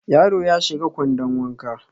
Yaro ya shiga kwandon wanka